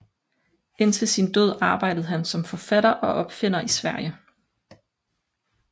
Indtil sin død arbejdede han som forfatter og opfinder i Sverige